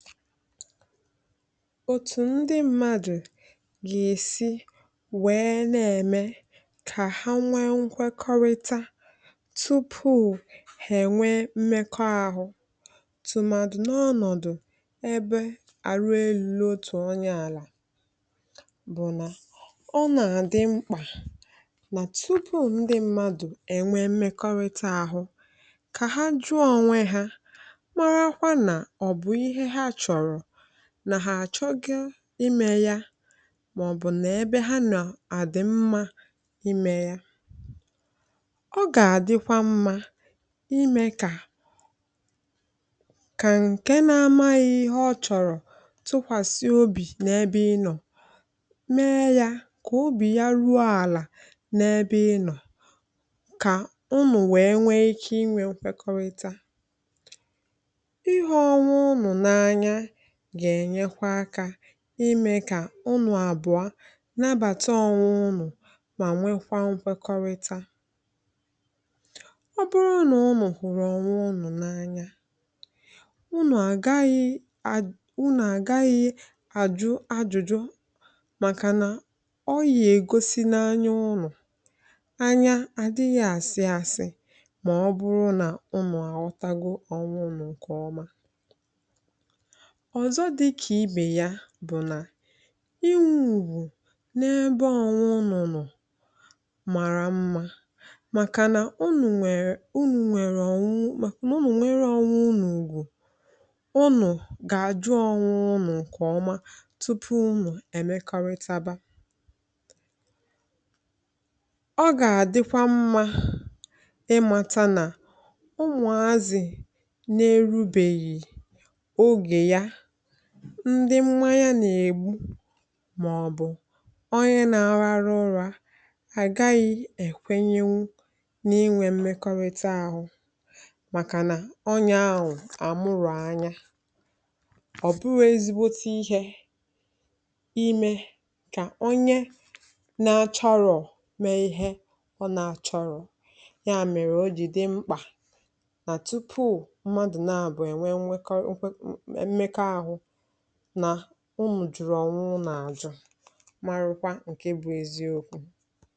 file 112 òtù ndi mmadù gà èsi wẹẹ nà ẹ̀mẹ kà ha nwẹ nkwẹkọrịta tupù hà ẹ̀nwẹ mmẹkọ ahụ tụ̀màdụ̀ n’ọnọ̀dụ̀ ẹbẹ àlụ elūlọ otù onyē àlà bụ̀ nà ọ nà àdị mkpà nà tupù ndị mmadụ̀ ẹ̀nwẹ mmẹkọrịta arụ̄ kà ha jụọ onwe ha marakwa nà ọ̀ bụ̀ ihẹ ha chọ̀rọ̀ nà hà àchọgo imẹ̄ ya mà ọ̀ bụ̀ nà ẹbẹ ha nọ̀ àdị̀ mmā ịmẹ̄ ya ọ gà àdịkwa mmā ị mẹ̄ kà kà ǹkẹ na amaghị̄ ihẹ ọ chọ̀rọ̀ tụkwàsị obì n’ẹbẹ ịnọ̀ mẹ ya kà obì ya ruo àlà n’ẹbẹ ị nọ̀ kà unù wẹ nwẹ ike ịnwẹ̄ nkwẹkọrịta ịhụ onwe unù n’anya gà ènyekwa akā ịmẹ kà unù àbụọ nabàta onwẹ unù mà nwekwa nkwekọrịta ọ bụrụ nà unù hụ̀rụ ọnwẹ unù n’anya unù àgaghị a… unù àgaghị àjụ ajụ̀jụ màkà nà ọ yà ègosi n’anya unù anya àdịghị̣ àsị asị ọ̀zọ dịkà ibè ya bụ nà inwẹ̄ ùgwù n’ebe ọnwẹ unù nọ̀ màrà mmā màkà nà unù nwẹ̀rẹ̀ unù nwẹ̀rẹ̀ ọ̀nwẹ…nà unù nwẹrẹ onwẹ unù unù gà àjụ onwe unù ǹkẹ̀ ọma tupu unù ẹ̀mẹkọrịtawa ọ gà àịkwa mmā ịmata nà ụmụ̀azị̀ nā erubèghì ogè ya ndị mmanya nà èbu mà ọ̀ bụ̀ ọnyẹ na ararụ ụrā àgaghị ẹnwẹnwụ n’ịnwẹ mmẹkọrịta ahụ màkà nà ọnyẹ̄ ahụ àmube amụ ọ̀ bụrọ̄ ezigbote ihē imē kà onye na achọrọ mẹ ihẹ ọ na achọrọ̀ yà mẹ̀rẹ̀ o jì dị mkpà nà tupù mmadù n’abụọ ẹ nwẹ mmẹkọrịta mmẹkọ ahụ nà unù jụ̀rụ̀ ọ̀nwẹ unù àjụ marụkwa ǹkẹ bụ eziokwū